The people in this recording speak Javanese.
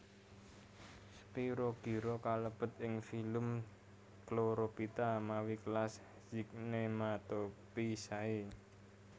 Spirogyra kalebet ing filum Chlorophyta mawi kelas Zygnematophyceae